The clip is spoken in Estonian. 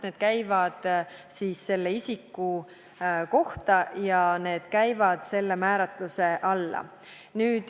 Need käivad selle isiku kohta ja need käivad selle määruse määratluse alla.